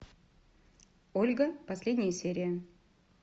ольга последняя серия